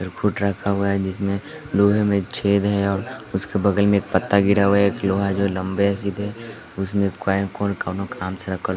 रखा हुआ है जिसमें लोहे में छेद है और उसके बगल में एक पत्ता गिरा हुआ है एक लोहा जो लंबे सीधे उसमें कौनों काम से रखा--